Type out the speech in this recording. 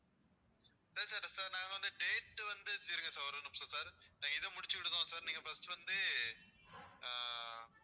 சரி sir நாங்க வந்து date வந்து இருங்க sir ஒரே நிமிஷம் sir நான் இதை முடிச்சிக்கிடுதோம் sir நீங்க first வந்து ஆஹ்